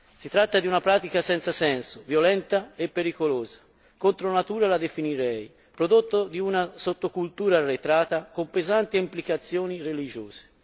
Si tratta di una pratica senza senso, violenta e pericolosa, contro natura la definirei, prodotto di una sottocultura arretrata, con pesanti implicazioni religiose.